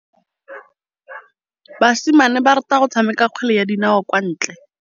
Basimane ba rata go tshameka kgwele ya dinaô kwa ntle.